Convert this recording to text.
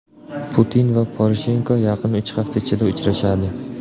Putin va Poroshenko yaqin uch hafta ichida uchrashadi.